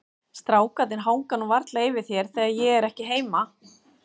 Strákarnir hanga nú varla yfir þér þegar ég er ekki heima.